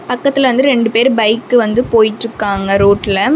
பக்கத்துல வந்து ரெண்டு பேர் பைக் வந்து போய்ட்ருகாங்க ரோட்ல .